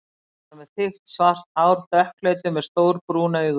Jónas var með þykkt svart hár, dökkleitur, með stór brún augu.